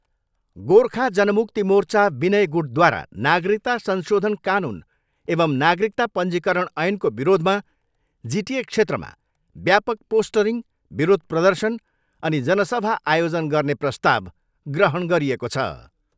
गोर्खा जनमुक्ति मोर्चा विनय गुटद्वारा नागरिकता संशोधन कानुन एवम् नगारिकता पञ्जीकरण ऐनको विरोधमा जिटिए क्षेत्रमा व्यापक पोस्टरिङ, विरोध प्रर्दशन अनि जनसभा आयोजन गर्ने प्रस्ताव ग्रहण गरिएको छ।